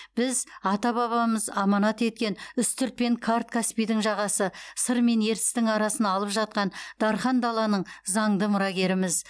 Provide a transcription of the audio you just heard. біз ата бабамыз аманат еткен үстірт пен қарт каспийдің жағасы сыр мен ертістің арасын алып жатқан дархан даланың заңды мұрагеріміз